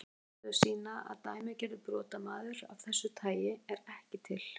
Niðurstöður sýna að dæmigerður brotamaður af þessu tagi er ekki til.